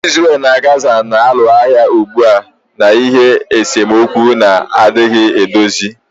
Israel na Gaza na-alụ agha ugbu a n'ihi esemokwu na-adịghị edozi